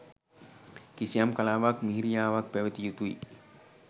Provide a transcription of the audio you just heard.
කිසියම් කලාවක් මිහිරියාවක් පැවතිය යුතුයි.